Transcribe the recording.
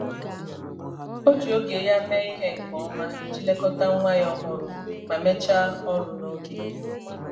ọ ji oge ya mee ihe nke ọma iji lekọta nwa ya ọhụrụ ma mechaa ọrụ n'oge.